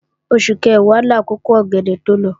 Oṣù Kẹ̀wá làkókò ọ̀gẹ̀dẹ̀ tó lọ